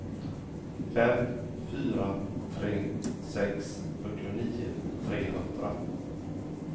fem fyra tre sex fyrtionio trehundra